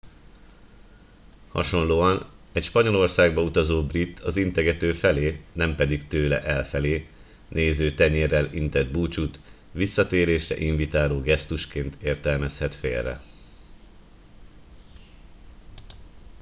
hasonlóan egy spanyolországba utazó brit az integető felé nem pedig tőle elfelé néző tenyérrel intett búcsút visszatérésre invitáló gesztusként értelmezhet félre